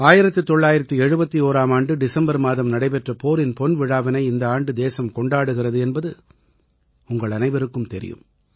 1971ஆம் ஆண்டு டிசம்பர் மாதம் நடைபெற்ற போரின் பொன்விழாவினை இந்த ஆண்டு தேசம் கொண்டாடுகிறது என்பது உங்களனைவருக்கும் தெரியும்